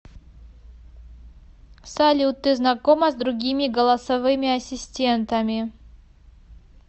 салют ты знакома с другими голосовыми ассистентами